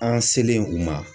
An selen u ma.